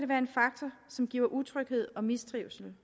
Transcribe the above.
være en faktor som giver utryghed og mistrivsel